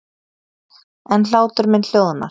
En hlátur minn hljóðnar.